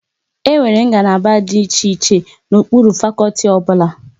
Enwere ngalaba dị iche iche n'okpuru fakọlti ọbụla